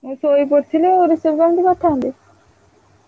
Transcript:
ମୁଁ ଶୋଇପଡ଼ିଥିଲି ଆଉ receive କେମିତି କରିଥାନ୍ତି।